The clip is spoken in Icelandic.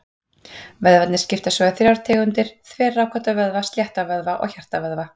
Vöðvarnir skiptast svo í þrjár tegundir: Þverrákótta vöðva, slétta vöðva og hjartavöðva.